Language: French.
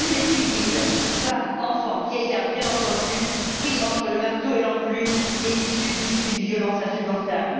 Tous les civils, femmes, enfants, vieillards, bien entendu, pris entre le marteau et l'enclume et qui subissent une violence insupportable.